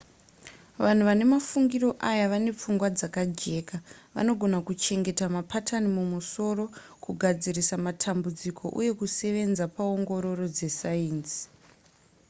vanhu vane mafungiro aya vane pfungwa dzakajeka vanogona kuchengeta mapatani mumusoro kugadzirisa matambudziko uye kusevenza paongororo dzesainzi